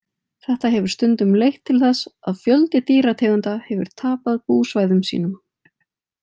Þetta hefur stundum leitt til þess að fjöldi dýrategunda hefur tapað búsvæðum sínum.